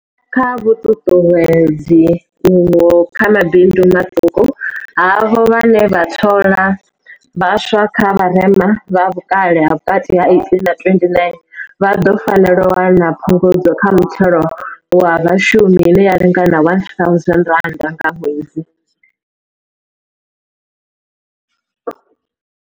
Kha vhuṱuṱuwedzi uho kha mabindu maṱuku, havho vhane vha thola vha swa vha vharema, vha vhukale ha vhukati ha 18 na 29, vha ḓo fanela u wana phungudzo kha muthelo wa vhashumi ine ya lingana R1 000 nga ṅwedzi.